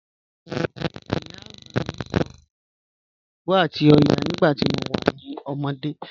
Iyà agbá mí sọ̀ fún mí nípà ṣàngó àti ọ̀yà nígbà tí mo wà ní òmódé.